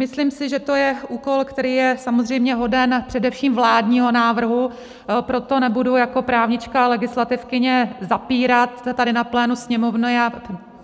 Myslím si, že to je úkol, který je samozřejmě hoden především vládního návrhu, proto nebudu jako právnička a legislativkyně zapírat tady na plénu Sněmovny a